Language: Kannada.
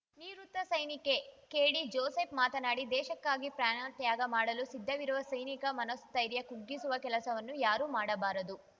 ನಿವೃತ್ತ ಸೈನಿಕ ಕೆಡಿಜೋಸೆಫ್‌ ಮಾತನಾಡಿ ದೇಶಕ್ಕಾಗಿ ಪ್ರಾಣ ತ್ಯಾಗ ಮಾಡಲು ಸಿದ್ಧವಿರುವ ಸೈನಿಕ ಮನೋಸ್ಥೈರ್ಯ ಕುಗ್ಗಿಸುವ ಕೆಲಸವನ್ನು ಯಾರೂ ಮಾಡಬಾರದು